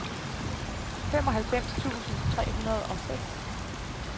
femoghalvfems tusind tre hundrede og seks